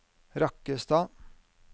Rakkestad